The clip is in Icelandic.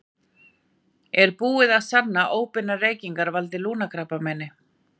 Er búið að sanna að óbeinar reykingar valdi lungnakrabbameini?